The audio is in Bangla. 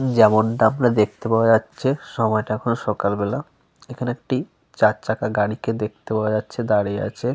যেমনটা আপনার দেখতে পাওয়া যাচ্ছে সময়টা এখনও সকাল বেলা। এখানে একটি চার চাকা গাড়িকে দেখতে পাওয়া যাচ্ছে দাঁড়িয়ে আছে।